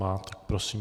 Má, tak prosím.